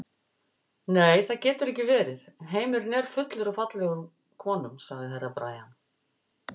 Nei, það getur ekki verið, heimurinn er fullur af fallegum konum, sagði Herra Brian.